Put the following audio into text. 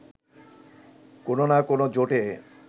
কোনও না কোনও জোটে